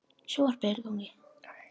Öðru hverju verður honum litið um öxl.